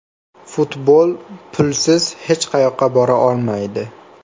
Futbol pulsiz hech qayoqqa bora olmaydi.